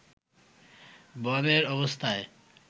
বনের অবস্থা